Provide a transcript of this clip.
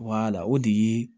o de ye